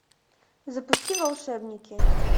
запусти волшебники